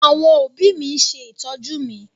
Àwọn òbí mi ń ṣe ìtọ́jú mi.